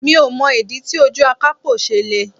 Mi ò mọ̀ ìdí tí ojú akapo ṣe le.